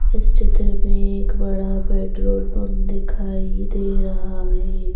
इस चित्र में एक बड़ा पेट्रोल पंप दिखाई दे रहा है।